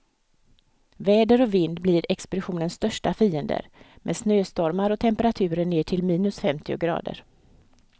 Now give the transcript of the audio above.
Väder och vind blir expeditionens största fiender, med snöstormar och temperaturer ner till minus femtio grader.